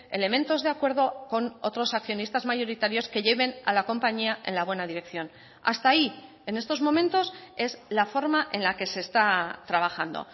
elementos de acuerdo con otros accionistas mayoritarios que lleven a la compañía en la buena dirección hasta ahí en estos momentos es la forma en la que se está trabajando